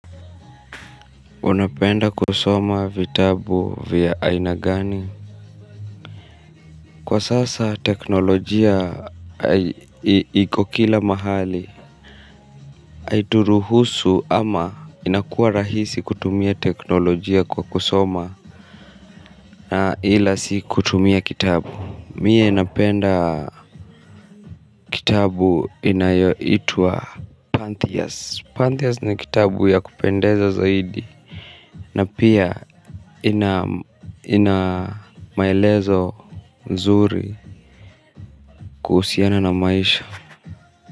Unapenda kusoma vitabu vya aina gani. Kwa sasa teknolojia iko kila mahali. Aituruhusu ama inakua rahisi kutumia teknolojia kwa kusoma na ila tu si kutumia kitabu mi napenda kitabu inayoitwa Pantheas Pantheas ni kitabu ya kupendeza zaidi. Na pia ina maelezo nzuri kuhusiana na maisha.